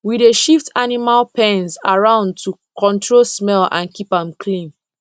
we dey shift animal pens around to control smell and keep am clean